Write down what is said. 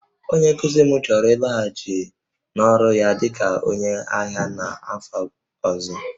Onye nkuzi m chọrọ ịlaghachi n'ọrụ ya dị ka onye agha n'afọ ọzọ